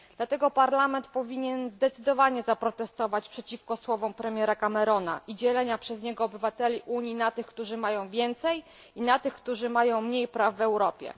Dlatego Parlament powinien zdecydowanie zaprotestować przeciwko słowom premiera Camerona i dzieleniu przez niego obywateli Unii na tych, którzy mają więcej, i na tych, którzy mają mniej praw w Europie.